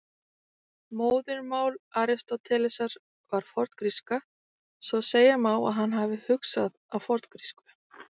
Móðurmál Aristótelesar var forngríska, svo segja má að hann hafi hugsað á forngrísku.